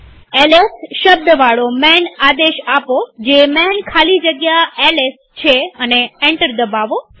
LS શબ્દવાળો માન આદેશ આપોજે માન ખાલી જગ્યા એલએસ છે અને એન્ટર દબાવો